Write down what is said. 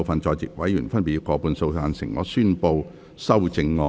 全體委員會現在逐一表決修正案。